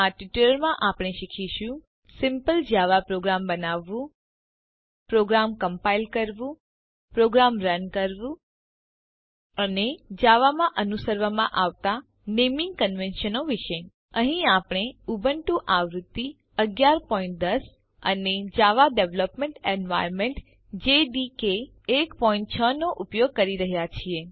આ ટ્યુટોરીયલ માં આપણે શીખીશું સિમ્પલ જાવા પ્રોગ્રામ બનાવવું પ્રોગ્રામ કમ્પાઈલ કરવું પ્રોગ્રામ રન કરવું અને જાવામાં અનુસરવામાં આવતા નેમીંગ કન્વેન્શનો વિષે અહીં આપણે ઉબુન્ટુ આવૃત્તિ 1110 અને જાવા ડેવલપમેન્ટ એન્વાયર્નમેન્ટ જેડીકે 16 નો ઉપયોગ કરી રહ્યા છીએ